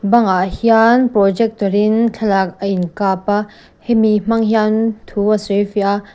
bangah hian projector in thlalak a inkap a hemi hmang hian thu a sawi fiah a.